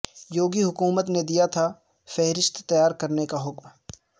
یوگی حکومت نے دیا تھا فہرست تیار کرنے کا حکم